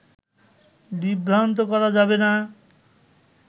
বিভ্রান্ত করা যাবে না